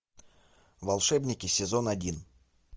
волшебники сезон один